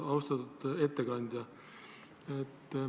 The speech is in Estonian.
Austatud ettekandja!